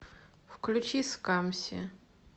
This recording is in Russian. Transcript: включи скамси